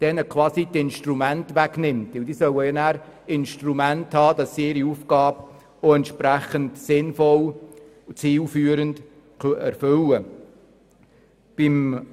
Denn sie sollen ja über die entsprechenden Instrumente verfügen, damit sie ihre Aufgabe sinnvoll und zielführend erfüllen können.